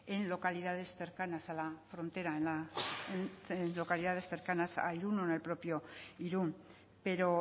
en localidades cercanas a la frontera en localidades cercanas a irún o en el propio irún pero